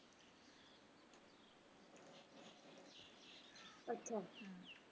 ਅੱਛਾ